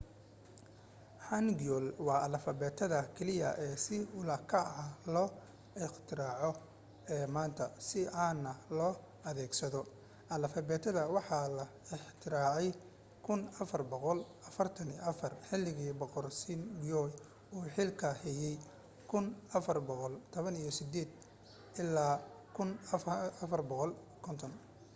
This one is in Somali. hanguel waa alifbeetada keliya ee si ula kac ah loo iqtiraacay ee maanta si caana loo adeegsado. alifbeetada waxa la ikhtiraacay 1444 xilligii boqor sejong uu xilka hayay 1418-1450